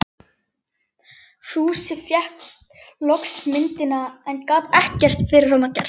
Fúsi fékk loks myndina, en gat ekkert fyrir hana gert.